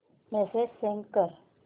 message send कर